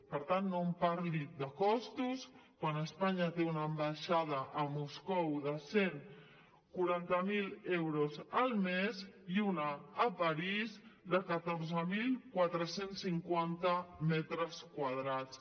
per tant no em parli de costos quan espanya té una ambaixada a moscou de cent i quaranta miler euros al mes i una a parís de catorze mil quatre cents i cinquanta metres quadrats